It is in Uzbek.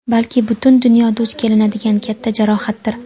balki butun dunyoda duch kelinadigan katta jarohatdir.